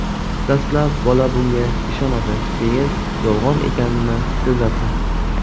Dastlab bola bunga ishonadi, keyin yolg‘on ekanini sezadi.